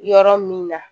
Yɔrɔ min na